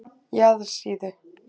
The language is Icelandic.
Jaðarsíðu